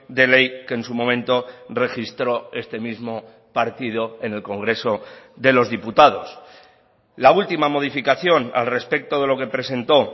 de ley que en su momento registró este mismo partido en el congreso de los diputados la última modificación al respecto de lo que presentó